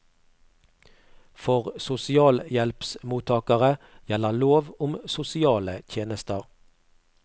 For sosialhjelpsmottakere gjelder lov om sosiale tjenester.